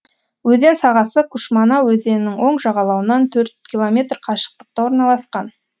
өзен сағасы кушмана өзенінің оң жағалауынан төрт километр қашықтықта орналасқан